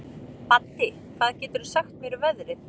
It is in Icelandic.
Baddi, hvað geturðu sagt mér um veðrið?